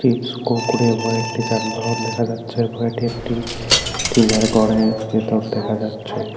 Chips Kurkure হয় একটি যানবাহন দেখা যাচ্ছে একটি টিনের ঘরের ভেতর দেখা যাচ্ছে।